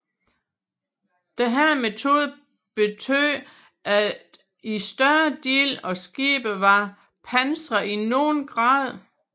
Denne metode betød at en større del af skibet var pansret i nogen grad